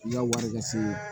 I ka wari ka se